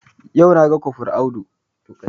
Yau na ga kofral Audu